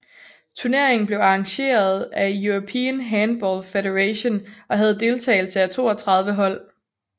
Turneringen blev arrangeret af European Handball Federation og havde deltagelse af 32 hold